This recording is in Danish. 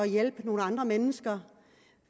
hjælpe nogle andre mennesker